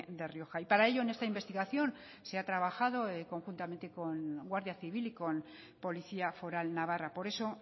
de rioja y para ello en esta investigación se ha trabajado conjuntamente con guardia civil y con policía foral navarra por eso